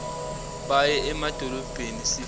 baye emadolobheni sifuna